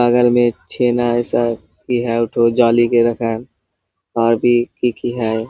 बगल में छेना है सब और भी खिड़की है।